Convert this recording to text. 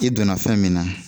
I donna fɛn min na,